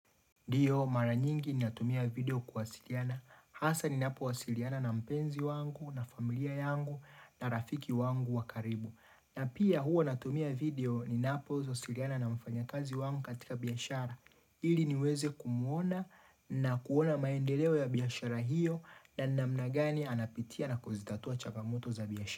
Ndiyo mara nyingi ni natumia video kuwasiliana. Hasa ninapo wasiliana na mpenzi wangu na familia yangu na rafiki wangu wakaribu. Na pia huo natumia video ninapo wasiliana na mfanya kazi wangu katika biashara. Ili niweze kumuona na kuona maendeleo ya biashara hiyo na namnagani anapitia na kuzitatua chagamoto za biashara.